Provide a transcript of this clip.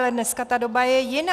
Ale dneska ta doba je jiná.